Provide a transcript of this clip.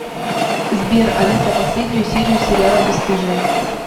сбер алиса последню серию сериала бесстыжие